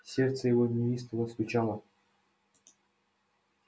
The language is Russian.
сердце его неистово стучало